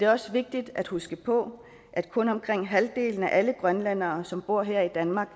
også vigtigt at huske på at kun omkring halvdelen af alle grønlændere som bor her i danmark